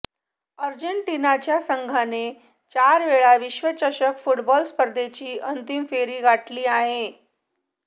अर्जेटिनाच्या संघाने चारवेळा विश्वचषक फुटबॉल स्पर्धेची अंतिम फेरी गाठली आहे